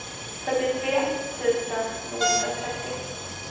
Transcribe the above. fyrtiotre tusen niohundratrettio